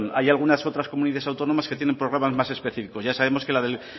hay algunas otras comunidades autónomas que tienen programas más específicos ya sabemos